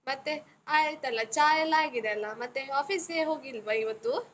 ಮತ್ತೆ ಆಯ್ತಲ್ಲ, ಚಾ ಎಲ್ಲ ಆಗಿದೆಯಲ್ಲ? ಮತ್ತೆ office ಗೆ ಹೋಗಿಲ್ವ ಇವತ್ತು?